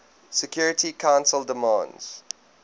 security council demands